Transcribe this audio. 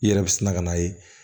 I yɛrɛ bi sina ka na ye